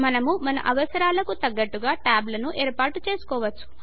మనము మన అవసరాలకు తగ్గట్టుగా ట్యాబ్ లను ఏర్పాటు చేసుకోవచ్చు